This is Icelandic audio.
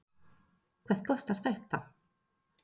Hvað kostar þetta?